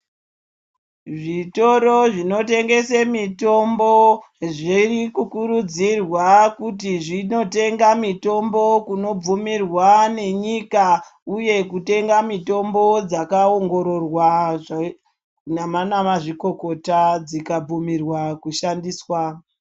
Zvitoro zvinotengesa mitombo zviri kukurudzirwa kuti zvindotenga mitombo inobvumirwa nenyika uye kutenga mitombo dzakaongororwa nana mazvikokota dzikabvumirwa kushandiswa.